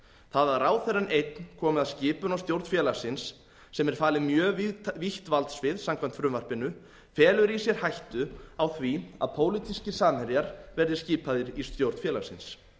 það að ráðherrann einn komi að skipun á stjórn félagsins sem er falið mjög vítt valdsvið samkvæmt frumvarpinu felur í sér hættu á því að pólitískir samherjar verði skipaðir í stjórn félagsins